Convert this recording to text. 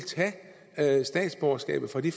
tage statsborgerskabet fra de